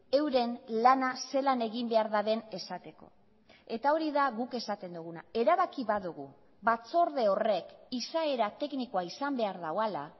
euren lana zelan egin behar duten esateko eta hori da guk esaten duguna erabaki badugu batzorde horrek izaera teknikoa izan behar duela